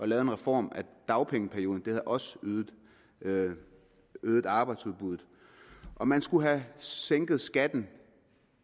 lavet en reform af dagpengeperioden det ville også have øget arbejdsudbuddet og man skulle have sænket skatten